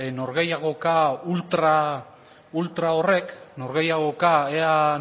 norgehiagoka ultra horrek norgehiagoka ea